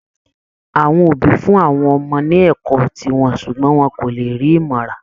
Àwọn òbí fún àwọn ọmọ ní ẹ̀kọ́ tí ó wọ́n ṣùgbọ́n wọn kò lè rí ìmọ̀ rà